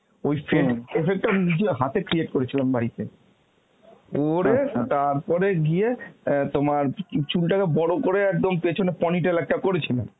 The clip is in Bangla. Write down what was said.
ওই fade effect টা নিজে হাতে create করেছিলাম বাড়িতে. করে তারপরে গিয়ে অ্যাঁ তোমার চুলটাকে বড় করে একদম পেছনে ponny tail একটা করেছিলাম